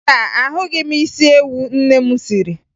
Mba, ahụghị m isi ewu nne m siri